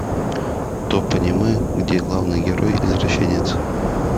топ аниме где главный герой извращенец